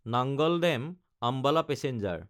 নাঙাল দাম–আম্বালা পেচেঞ্জাৰ